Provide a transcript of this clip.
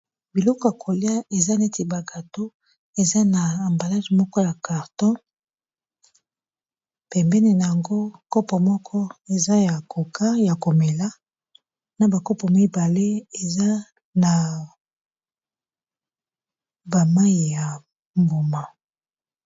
biloko ya kolia eza neti bagato eza na ambalage moko ya carton pembene yango kopo moko eza ya koka ya komela na bakopo mibale eza na bamai ya mbuma